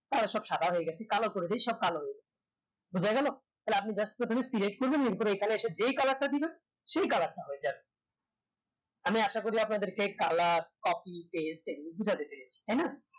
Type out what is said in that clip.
তাহলে সব সাদা হয়ে গেছে কালো করে দেয় সব কালো হয়ে যাবে বুজা গেলো তাহলে আপনি just প্রথমে select করে নিলেন তরপর এখানে এসে যে colour তা দিবেন সে colour টা হয়ে যাবে আমি আশা করি আপনাদেরকে colour copy paste এগুলো বুজাতে পেরেছি তাইনা